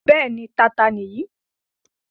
Bẹ́ẹ̀ni, Tata nìyí.